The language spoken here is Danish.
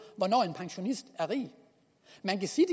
hvornår en pensionist er rig man kan sige